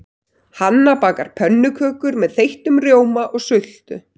Hanna bakar pönnukökur með þeyttum rjóma og sultu.